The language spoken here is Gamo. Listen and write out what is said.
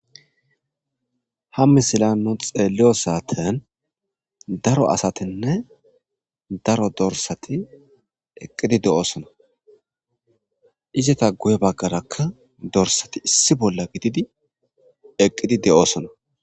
Ha misila nu xeelliyo saaten daro asatinne daro dorsati eqqidi de7oosona izata guye baggarakka dorsati issi bolla gididi eqqidi de7oosona.